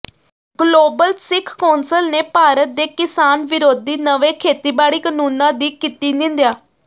global Sikh council ਨੇ ਭਾਰਤ ਦੇ ਕਿਸਾਨ ਵਿਰੋਧੀ ਨਵੇਂ ਖੇਤੀਬਾੜੀ ਕਾਨੂੰਨਾਂ ਦੀ ਕੀਤੀ ਨਿੰਦਿਆ